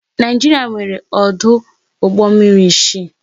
Naịjiria nwéré ọdụ ụgbọ mmiri isii